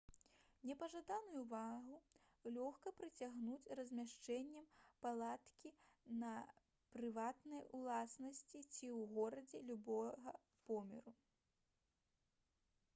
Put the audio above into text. непажаданую ўвагу лёгка прыцягнуць размяшчэннем палаткі на прыватнай уласнасці ці ў горадзе любога памеру